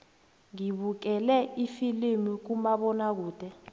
ngibukele ifilimu kumabonakude